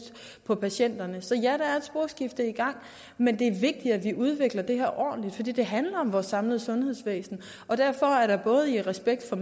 på patienterne så ja der er et sporskifte i gang men det er vigtigt at vi udvikler det her ordentligt for det handler om vores samlede sundhedsvæsen og derfor er der i respekt for